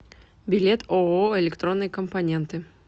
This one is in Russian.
билет ооо электронные компоненты